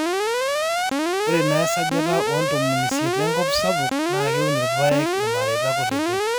ore naa esajata oo ntomoni isiet enkop sapuk naa keun irpaek irmareita kutitik